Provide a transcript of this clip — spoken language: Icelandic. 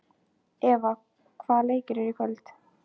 Eva, hvaða leikir eru í kvöld?